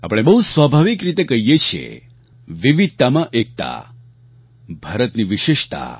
આપણે બહુ સ્વાભાવિક રીતે કહીએ છીએ વિવિધતામાં એકતા ભારતની વિશેષતા